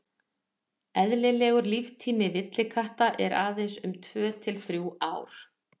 eðlilegur líftími villikatta er aðeins um tvö til þrjú ár